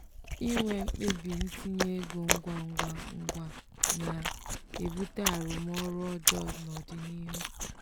inwe mkpebi ntinye ego ngwa ngwa ngwa na-ebute arụmọrụ ọjọọ n’ọdịnihu.